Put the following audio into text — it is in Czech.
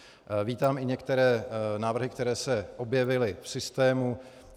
Vítám i některé návrhy, které se objevily v systému.